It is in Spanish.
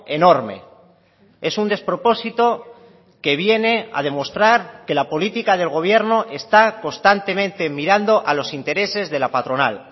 enorme es un despropósito que viene a demostrar que la política del gobierno está constantemente mirando a los intereses de la patronal